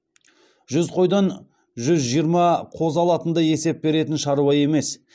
жүз қойдан жүз жиырма қозы алатындай есеп беретін шаруа емес